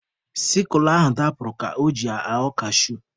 Sikle ahụ dapụrụ ka o ji ya aghọ kashu.